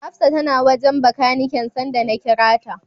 Hafsa tana wajen Bakaniken sanda na kira ta.